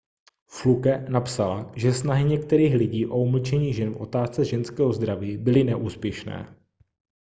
fluke napsala že snahy některých lidí o umlčení žen v otázce ženského zdraví byly neúspěšné